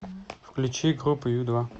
включи группу ю два